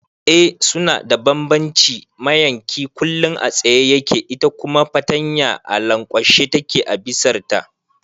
Eh suna da bambanci, mayanki kullum a tsaye yake ita kuma fartanya a lankwashe take a bisar ta